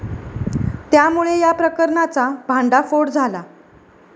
त्यामुळे या प्रकरणाचा भांडाफोड झाला.